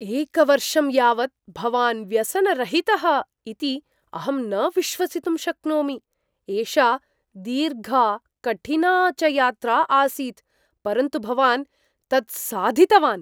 एकवर्षं यावत् भवान् व्यसनरहितः इति अहं न विश्वसितुं शक्नोमि। एषा दीर्घा कठिना च यात्रा आसीत्, परन्तु भवान् तत् साधितवान्।